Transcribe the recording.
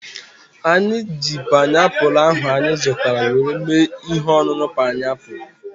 Anyị ji painiapulu ahu anyị zụtara were mee ihe ọṅụṅụ painiapulu